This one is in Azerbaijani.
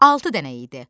Altı dənə idi.